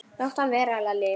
Láttu hann vera, Lalli!